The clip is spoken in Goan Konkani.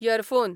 यरफोन